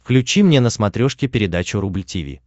включи мне на смотрешке передачу рубль ти ви